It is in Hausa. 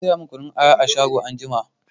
Ki saya min kunun aya a shago anjima!